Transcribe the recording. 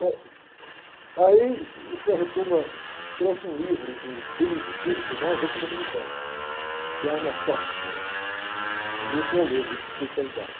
Bom, aí o frei trouxe um livro de um beneditino, não tem nada a ver com o dominicano, um, um livro para eu ler, livro de espiritualidade.